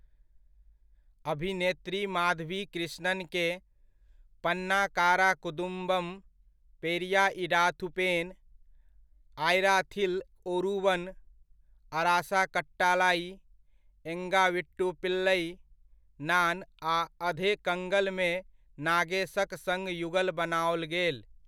अभिनेत्री माधवी कृष्णनकेँ 'पन्नाकारा कुदुम्बम', 'पेरिया इडाथू पेन', 'आयराथिल ओरूवन', 'अरासा कट्टालाइ', 'एंगा वीट्टू पिल्लइ', 'नान' आ 'अधे कंगल' मे नागेशक सङ्ग युगल बनाओल गेल।